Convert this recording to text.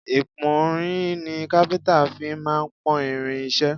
Ìpọ́nrin ni káfíńńtà fí máà ń pọ́n irin iṣẹ́.